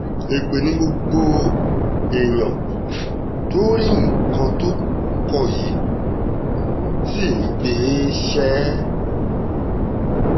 èpè ni púpọ̀ èèyàn tó rí nǹkan tó kọ yìí ṣì ń gbé e ṣe